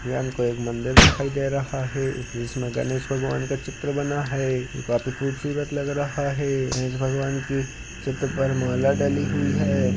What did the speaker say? यानको एक मंदिर दिखाई दे रहा है जिसमे गणेश भगवान का चित्र बना है जो काफी खूबसूरत लग रहा है गणेश भगवान की चित्र पर माला डली हुई है।